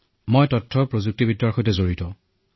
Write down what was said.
মই তথ্য প্ৰযুক্তিখণ্ডৰ এজন কৰ্মচাৰী